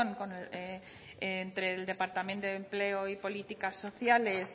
entre el departamento de empleo y políticas sociales